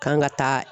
Kan ka taa